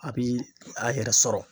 A bi a yɛrɛ sɔrɔ.